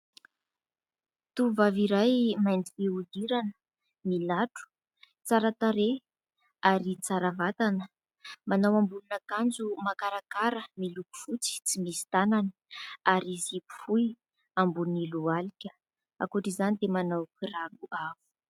Tovovavy iray mainty fihodirana milatro, tsara tarehy ary tsara vatana, manao ambonin'akanjo makarakara miloko fotsy tsy misy tanany ary zipo fohy ambony lohalika, ankoatr'izany dia manao kiraro avo.